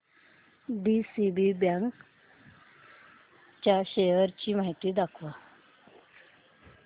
DCB bank च्या shares ची माहिती दाखव